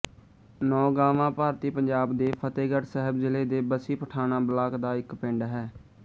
ਨੌਗਾਵਾਂ ਭਾਰਤੀ ਪੰਜਾਬ ਦੇ ਫ਼ਤਹਿਗੜ੍ਹ ਸਾਹਿਬ ਜ਼ਿਲ੍ਹੇ ਦੇ ਬੱਸੀ ਪਠਾਣਾਂ ਬਲਾਕ ਦਾ ਇੱਕ ਪਿੰਡ ਹੈ